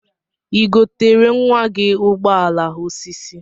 Igotere nwa gi ụgbọala osisi?